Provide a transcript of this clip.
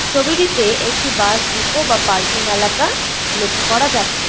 ছবিটিতে একটি bus depot বা পার্কিং এলাকা লক্ষ্য করা যাচ্ছে।